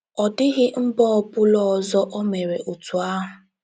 Ọ dịghị mba ọ bụla ọzọ o meere otú ahụ. ”